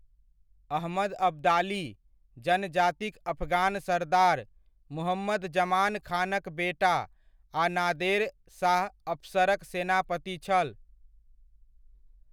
अहमद अब्दाली, जनजातिक अफगान सरदार, मुहम्मद जमान खानक बेटा आ नादेर शाह अफशरक सेनापति छल।